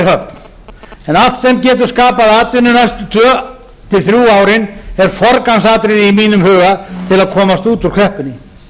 en allt sem getur skapað atvinnu næstu tvö til þrjú árin er forgangsatriði í mínum huga til að komast út úr kreppunni